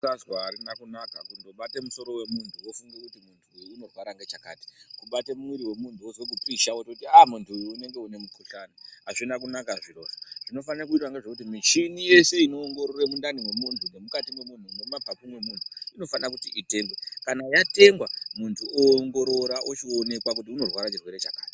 .....harina kunaka kundobate musoro wemunhu wofunge kuti muntu uyu unorwara ngechakati. kubate muiri wemuntu wozwe kupisha wototi ah muntu uyu unenge une mukuhlani. Hazvina kunaka zvirozvo, zvinofane kuitwa ngezvekuti michini yese inoongorore mundani mwemunhu nemukati memunhu nemumapapu memunhu inofana kuti itengwe, kana watengwa muntu oongorora ochionekwa kuti unorwara chirwere chakati.